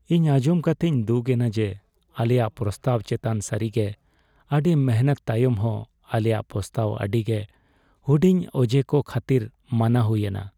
ᱱᱚᱶᱟ ᱟᱧᱡᱚᱢ ᱠᱟᱛᱮᱧ ᱫᱩᱠ ᱮᱱᱟ ᱡᱮ ᱟᱞᱮᱭᱟᱜ ᱯᱨᱚᱥᱛᱟᱵ ᱪᱮᱛᱟᱱ ᱥᱟᱹᱨᱤᱜᱮ ᱟᱹᱰᱤ ᱢᱤᱱᱦᱟᱹᱛ ᱛᱟᱭᱚᱢ ᱦᱚᱸ ᱟᱞᱮᱭᱟᱜ ᱯᱨᱚᱥᱛᱟᱵ ᱟᱹᱰᱤᱜᱮ ᱦᱩᱰᱤᱧ ᱚᱡᱮ ᱠᱚ ᱠᱷᱟᱹᱛᱤᱨ ᱢᱟᱱᱟ ᱦᱩᱭᱮᱱᱟ ᱾